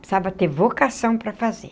Precisava ter vocação para fazer.